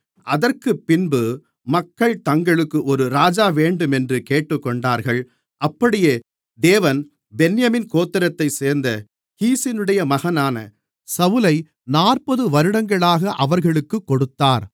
அதற்குப்பின்பு மக்கள் தங்களுக்கு ஒரு ராஜா வேண்டுமென்று கேட்டுக்கொண்டார்கள் அப்படியே தேவன் பென்யமீன் கோத்திரத்தைச் சேர்ந்த கீசுடைய மகனான சவுலை நாற்பது வருடங்களாக அவர்களுக்குக் கொடுத்தார்